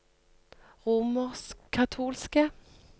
romerskkatolske